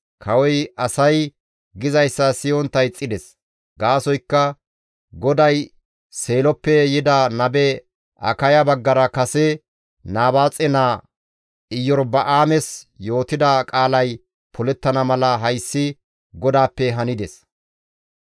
Kawoy asay gizayssa siyontta ixxides; gaasoykka GODAY Seeloppe yida nabe Akaya baggara kase Nabaaxe naa Iyorba7aames yootida qaalay polettana mala hayssi GODAAPPE hanides.